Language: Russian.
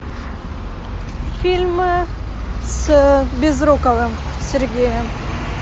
фильмы с безруковым сергеем